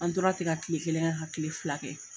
An tora ten ka kile kelen kɛ ka kile fila kɛ.